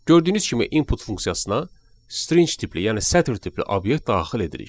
Gördüyünüz kimi "input" funksiyasına string tipli, yəni sətr tipli obyekt daxil edirik.